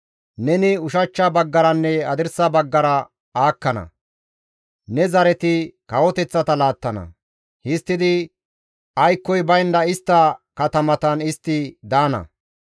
Neni ushachcha baggaranne hadirsa baggara aakkana; ne zareti kawoteththata laattana; histtidi aykkoy baynda istta katamatan istti daana.